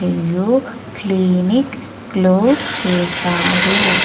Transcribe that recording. Clinic close చేశారు.